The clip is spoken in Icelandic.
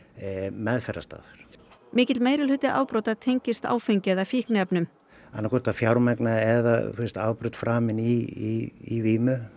meðferðarstarf mikill meirihluta afbrota tengist áfengi eða fíkniefnum annaðhvort að fjármagna eða afbrot framið í vímu